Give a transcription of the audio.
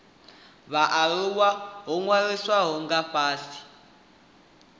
vhaaluwa ho ṅwalisiwaho nga fhasi